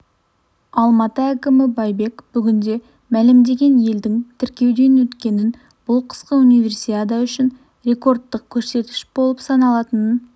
алматы әкімі байбек бүгінде мәлімделген елдің тіркеуден өткенін бұл қысқы универсиада үшін рекордтық көрсеткіш болып саналатынын